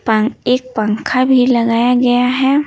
पं एक पंखा भी लगाया गया है।